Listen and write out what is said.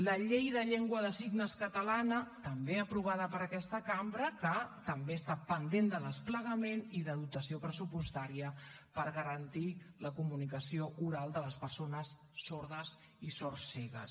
la llei de llengua de signes catalana també aprovada per aquesta cambra que també està pendent de desplegament i de dotació pressupostària per garantir la comunicació oral de les persones sordes i sordcegues